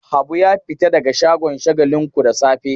Habu ya fita daga shagon Shagalinku da safe.